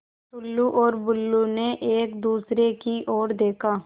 टुल्लु और बुल्लु ने एक दूसरे की ओर देखा